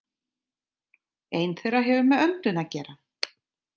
Ein þeirra hefur með öndun að gera.